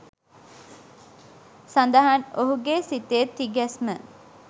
සඳහන් ඔහුගේ සිතේ තිගැස්ම